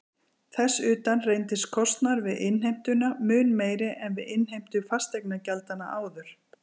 Þess utan reyndist kostnaður við innheimtuna mun meiri en við innheimtu fasteignagjaldanna áður.